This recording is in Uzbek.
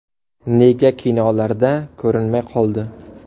Nega kinolarda ko‘rinmay qoldi?.